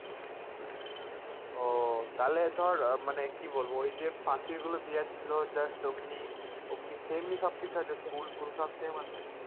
ও তাহলে ধর মানে কি বলবো ওই যে প্রাচীর গুলো দিয়া ছিল just ওমনি ওমনি same ই সবকিছু আছে school ফুল সব same আছে ।